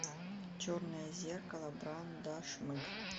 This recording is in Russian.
черное зеркало брандашмыг